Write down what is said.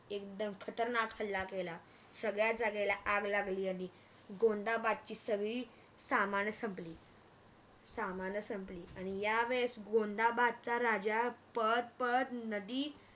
एकदम खतरनाक हल्ला केला सगळ्या जागेला आग लागली आणि गोंदाबादची सगळी सामाणं संपली सामाणं संपली आणि या वेळेस गोंदाबादचा राजा पळत पळत नदी